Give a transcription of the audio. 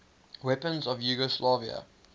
weapons of yugoslavia